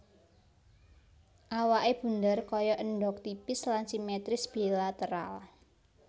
Awaké bundher kaya endhog tipis lan simetris bilateral